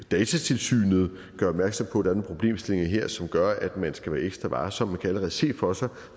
datatilsynet gør opmærksom på er nogle problemstillinger her som gør at man skal være ekstra varsom man kan allerede se for sig